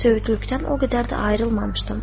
Söyüdlükdən o qədər də ayrılmamışdım.